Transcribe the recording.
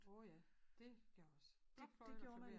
Åh ja dét gjorde jeg også blokfløjte klaver